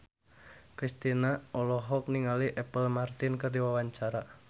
Kristina olohok ningali Apple Martin keur diwawancara